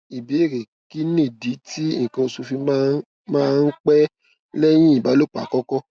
ìbéèrè kí nìdí tí ikan osu fi máa máa ń pẹ lẹyìn ìbálòpọ àkọkọ